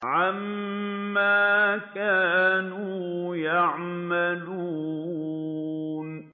عَمَّا كَانُوا يَعْمَلُونَ